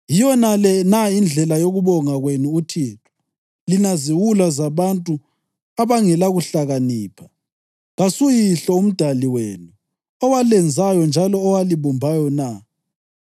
Yiyonale na indlela yokubonga kwenu uThixo, lina ziwula zabantu abangelakuhlakanipha? KasuYihlo, uMdali wenu, owalenzayo njalo owalibumbayo na?